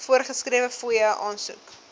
voorgeskrewe fooie aansoek